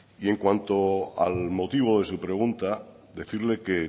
y en cuanto al motivo de su pregunta decirle que